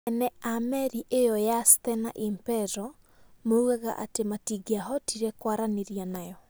Enee a meri ĩyo ya Stena Impero moigaga atĩ matingĩahotire kwaranĩria nayo.